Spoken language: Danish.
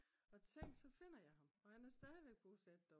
og tænk så finder jeg ham og han er stadigvæk bosat der